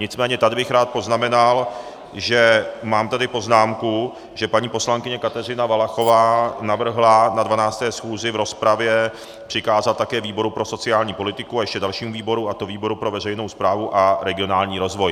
Nicméně tady bych rád poznamenal, že mám tady poznámku, že paní poslankyně Kateřina Valachová navrhla na 12. schůzi v rozpravě přikázat také výboru pro sociální politiku a ještě dalšímu výboru, a to výboru pro veřejnou správu a regionální rozvoj.